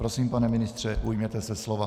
Prosím, pane ministře, ujměte se slova.